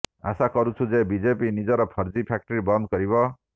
ଆଶା କରୁଛୁ ଯେ ବିଜେପି ନିଜର ଫର୍ଜି ଫ୍ୟାକ୍ଟ୍ରି ବନ୍ଦ କରିବ